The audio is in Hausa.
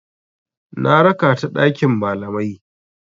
Na raka ta ɗakin malamai.